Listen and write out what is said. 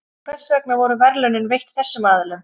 En hvers vegna voru verðlaunin veitt þessum aðilum?